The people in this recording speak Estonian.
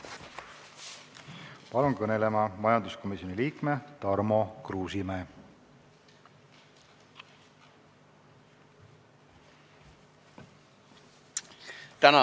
Palun kõnelema majanduskomisjoni liikme Tarmo Kruusimäe.